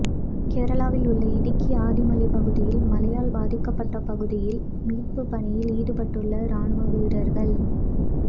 கேரளாவில் உள்ள இடுக்கி ஆதிமலை பகுதியில் மழையால் பாதிக்கப்பட்ட பகுதியில் மீட்பு பணியில் ஈடுபட்டுள்ள ராணுவ வீரர்கள்